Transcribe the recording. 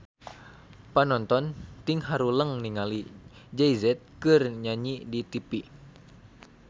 Panonton ting haruleng ningali Jay Z keur nyanyi di tipi